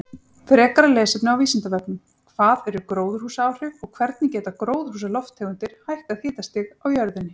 Frekara lesefni á Vísindavefnum: Hvað eru gróðurhúsaáhrif og hvernig geta gróðurhúsalofttegundir hækkað hitastig á jörðinni?